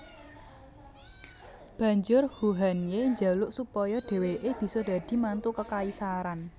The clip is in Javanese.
Banjur Huhanye jaluk supaya dheweke bisa dadi mantu kekaisaran